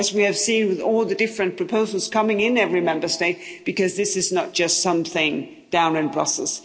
As we have seen with all the different proposals coming in every Member State because this is not just something down in Brussels.